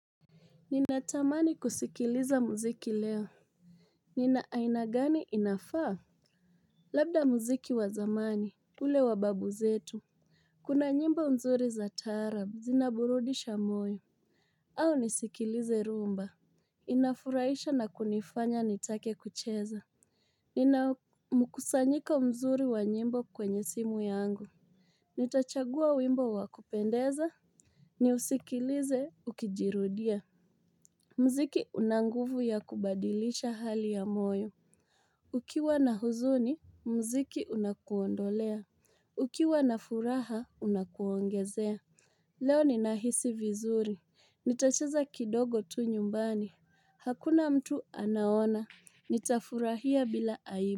Ninatamani kusikiliza muziki leo Nina aina gani inafaa Labda muziki wa zamani, ule wa babu zetu Kuna nyimbo nzuri za taarab zinaburudisha moyo au nisikilize rumba Inafuraisha na kunifanya nitake kucheza Nina mkusanyiko mzuri wa nyimbo kwenye simu yangu Nitachagua wimbo wa kupendeza Niusikilize ukijirudia Mziki una nguvu ya kubadilisha hali ya moyo. Ukiwa na huzuni, mziki unakuondolea. Ukiwa na furaha, unakuongezea. Leo ninahisi vizuri. Nitacheza kidogo tu nyumbani. Hakuna mtu anaona. Nitafurahia bila aibu.